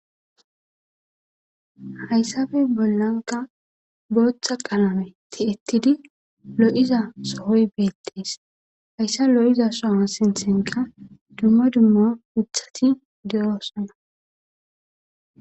hayssabe bollanka booththa qalame ti7ettidi lo7iza sohoy beettees hayssa lo7iza soha sinthenka dumma dummo uthati de7oosona